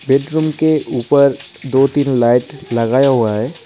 Bedroom के ऊपर दो-तीन लाइट लगाया हुआ है।